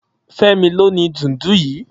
Femi ló ni dúùndù yi